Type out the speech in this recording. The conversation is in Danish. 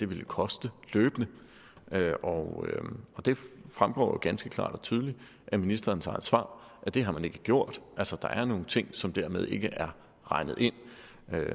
vil koste løbende og det fremgår jo ganske klart og tydeligt af ministerens eget svar at det har man ikke gjort altså der er nogle ting som dermed ikke er regnet ind